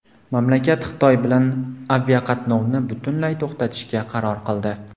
Mamlakat Xitoy bilan aviaqatnovni butunlay to‘xtatishga qaror qildi.